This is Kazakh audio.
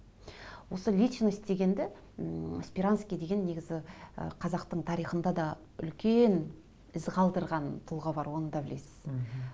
осы личность дегенді ммм сперанский деген негізі ы қазақтың тарихында да үлкен із қалдырған тұлға бар оны да білесіз мхм